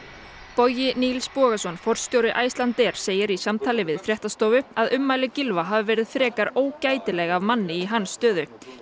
Bogi Nils Bogason forstjóri Icelandair segir í samtali við fréttastofu að ummæli Gylfa hafi verið frekar ógætileg af manni í hans stöðu